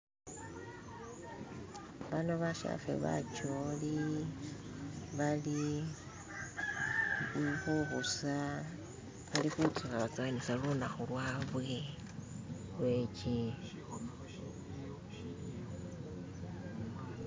bano bashefe bacholi bali khubusa bali khutsowatsowanisa lunakhu lwabwe .